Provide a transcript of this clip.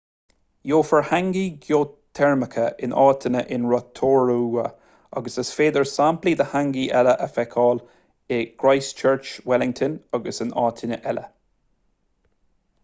gheofar hangi geoiteirmeacha in áiteanna in rotorua agus is féidir samplaí de hangi eile a fheiceáil in christchurch wellington agus in áiteanna eile